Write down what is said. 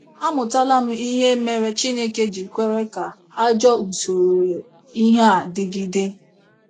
Amụtala m ihe mere Chineke ji kwere ka ajọ usoro ihe a dịgide.